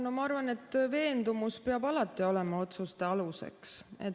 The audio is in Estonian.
No ma arvan, et veendumus peab alati olema otsuste aluseks.